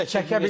Çəkə bilməz.